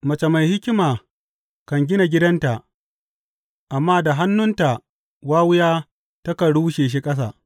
Mace mai hikima kan gina gidanta, amma da hannunta wawiya takan rushe shi ƙasa.